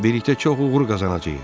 Birlikdə çox uğur qazanacağıq.